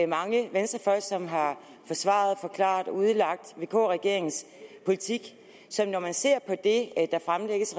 mange venstrefolk som har forsvaret og forklaret og udlagt vk regeringens politik når man ser på det der fremlægges